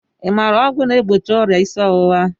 I maara ọgwụ na-egbochi ọrịa isi ọwụwa?